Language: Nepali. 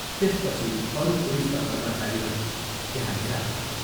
त्यसपछि अरू पुलिसका कर्मचारीहरू त्यहाँ भेला भए।